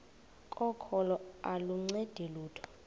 kokholo aluncedi lutho